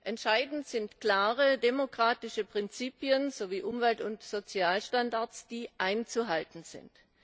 Entscheidend sind klare, demokratische Prinzipien sowie Umwelt und Sozialstandards, die einzuhalten sind.